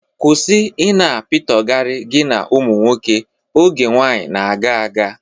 Kwụsị ị na-apitọgara gị na ụmụ nwoke. Oge nwaanyị na-aga aga!